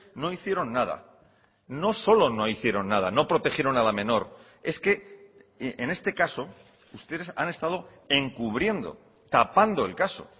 no hicieron nada no solo no hicieron nada no protegieron a la menor es que en este caso ustedes han estado encubriendo tapando el caso